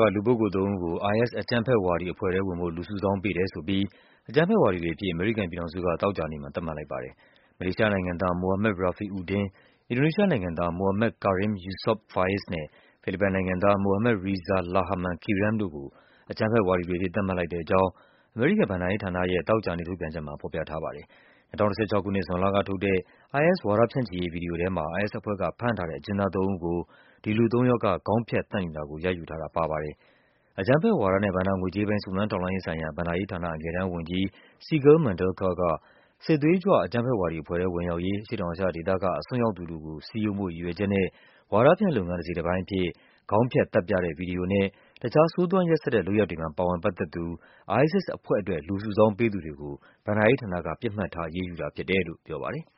က လူပုဂ္ဂိုလ်သုံးဦးကို IS အကြမ်းဖက်ဝါဒီအဇွဲ့ထဲဝင်ဖို့ လူစုဆောင်းပေးတယ်ဆိုပြီး အကြမ်းဖက်ဝါဒီတွေ အဖြစ် အမေရိကန်ပြည်ထောင်စုက သောကြာနေ့မှာ သတ်မှတ်လိုက်ပါတယ်။ မလေးရှားနိုင်ငံသား Mohamad Rafi Udin ၊ အင်ဒိုနီးရှားနိုင်ငံသား Mohammed Karim Yusop Faiz နဲ့ ဖိလစ်ပိုင်နိုင်ငံသား Mohammad Reza Lahaman Kiram တို့ကို အကြမ်းဖက်ဝါဒီတွေအဖြစ် သတ်မှတ်လိုက်တဲ့အကြောင်း အမေရိကန် ဘဏ္ဍာရေး ဌာနရဲ့ သောကြာနေ့ထုတ်ပြန်ချက်မှာ ဖော်ပြထားပါတယ်။ ၂၀၁၆ ခုနှစ်၊ ဇွန်လကထုတ်တဲ့ IS ဝါဒဖြန့်ချိရေးဗွီဒီယိုထဲမှာ IS အဖွဲ့ ကဖမ်းထားတဲ့ အကျဉ်းသားသုံးဦးကို ဒီလူသုံးယောက်က ခေါင်းဖြတ်သတ်နေတာကို ရိုက်ယူထားတာပါပါတယ်။ အကြမ်းဖက်ဝါဒနဲ့ ဘဏ္ဍာငွေကြေးပိုင်း စုံစမ်းထောက်လှမ်းရေးဆိုင်ရာ ဘဏ္ဍာရေးဌာန အငယ်တန်းဝန်ကြီး Sigal Mandelker က “စစ်သွေးကြွ အကြမ်းဖက်ဝါဒီအဖွဲ့ထဲဝင်ရောက်ရေး အရှေ့တောင်အာရှဒေသက အစွန်းရောက်သူတွေကို စည်းရုံးဖို့ရည်ရွယ်ချက် နဲ့ ဝါဒဖြန့်လုပ်ငန်း တစိတ်တပိုင်းအဖြစ် ခေါင်းဖြတ်သတ်ပြတဲ့ဗွီဒီယိုနဲ့ တခြား ဆိုးသွမ်းရက်စက်တဲ့ လုပ်ရပ်တွေမှာ ပါဝင်ပတ်သက် သူ ISIS အဖွဲ့အတွက် လူစုဆောင်းပေးသူတွေကို ဘဏ္ဍာရေးဌာနက ပစ်မှတ်ထား လုပ်ဆောင်တာဖြစ်တယ်” လို့ပြောပါတယ်။